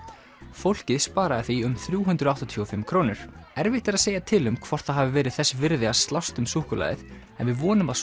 fólkið sparaði því um þrjú hundruð áttatíu og fimm krónur erfitt er að segja til um hvort það hafi verið þess virði að slást um súkkulaðið en við vonum að